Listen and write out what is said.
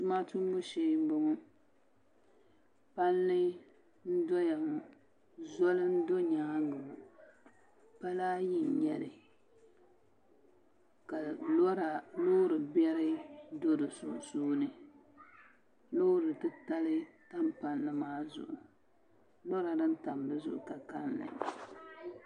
Tuma tumbu shee n bɔŋɔ palli n doya ŋɔ zoli n do nyaangi ŋɔ pala ayi n nyɛli ka loori biɛri do di sunsuuni loori titali tam palli maa zuɣu lora din tam dizuɣu ka kanli